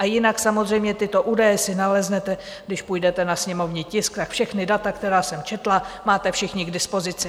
A jinak samozřejmě tyto údaje si naleznete, když půjdete na sněmovní tisk, tak všechna data, která jsem četla, máte všichni k dispozici.